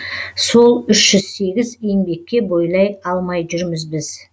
сол үш жүз сегіз еңбекке бойлай алмай жүрміз біз